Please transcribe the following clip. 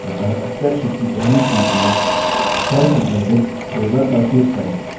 अतः spreadsheet की पहली sheet में cell संदर्भित a1 पर click करें